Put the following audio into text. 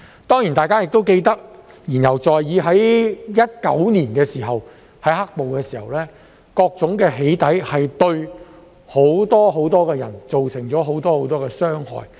當然，大家都記得——言猶在耳——在2019年"黑暴"的時候，各種"起底"對很多人造成很多傷害。